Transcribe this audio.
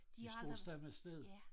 De står samme sted